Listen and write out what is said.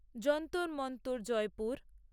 Jantar Mantar Jaipur